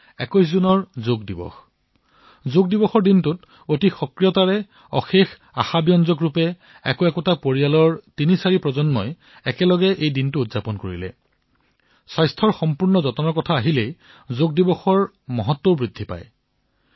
২১ June তাৰিখে পুনৰবাৰ যোগ দিৱসত যি সক্ৰিয়তাৰ সৈতে উৎসাহৰ সৈতে এটা এটা পৰিয়ালৰ তিনিচাৰিটা প্ৰজন্ম একত্ৰিত হৈ যোগ দিৱস পালন কৰিলে সামূহিক স্বাস্থ্য সেৱাৰ বাবে যি সজাগতা বৃদ্ধি হৈছে তাত যোগ দিৱসৰ মাহাত্ম বৃদ্ধি হবলৈ ধৰিছে